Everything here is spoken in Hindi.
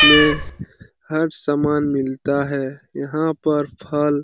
में हर सामान मिलता है यहाँ पर फल --